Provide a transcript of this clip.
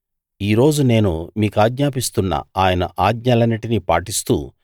ఈ రోజు నేను మీకాజ్ఞాపిస్తున్న ఆయన ఆజ్ఞలన్నిటినీ పాటిస్తూ